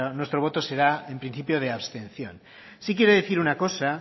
nuestro voto será en principio de abstención sí quiero decir una cosa